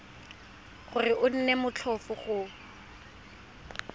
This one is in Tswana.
gore go nne motlhofo go